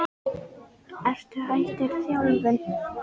Ertu hættur þjálfun?